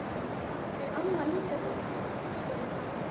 Er amma líka góð? spurði Palla.